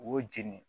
U y'o jeni